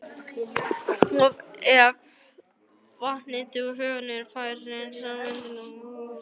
Ef vatnið úr holunni fær að sjóða myndast strax kalkútfellingar.